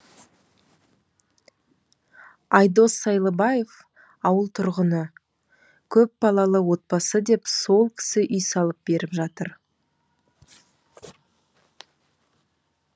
айдос сайлыбаев ауыл тұрғыны көпбалалы отбасы деп сол кісі үй салып беріп жатыр